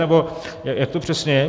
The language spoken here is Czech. Nebo jak to přesně je?